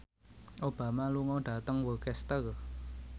Obama lunga dhateng Worcester